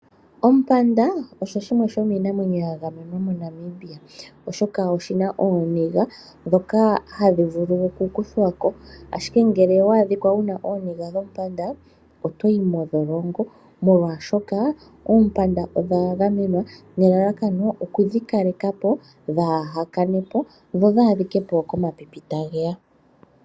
Ompanda, osho shimwe shomiinamwenyo ya gamenwa moNamibia, oshoka oshi na ooniga ndhoka hadhi vulu okukuthwa ko. Ashike ngele owa adhika wu na ooniga dhompanda, oto yi mondholongo, molwashoka oompanda odha gamenwa nelalakano oku dhi kaleka po, dhaa kane po, dho dhi adhike po komapipi tage ya.